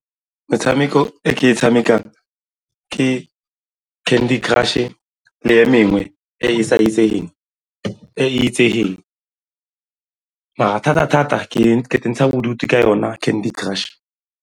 Metshameko e ke e tshamekang ke Candy Crush-e le e mengwe e e sa itsegeng, e e itsegeng mara thata-thata ke intsha bodutu ka yona Candy Crush.